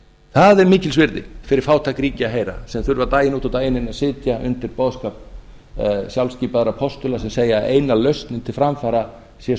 það er mikils virði fyrir fátæk ríki að heyra sem þurfa daginn út og daginn inn að sitja undir boðskap sjálfskipaðra postula sem segja að eina lausnin til framfara sé